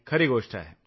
खरी गोष्ट आहे